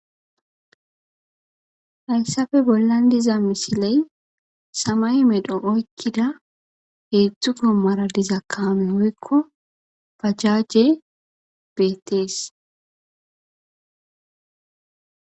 Hayssappe bollan diza misiley samaye medhon oykkida heedzdzu goomara diza kaame oykko bajaje beettees.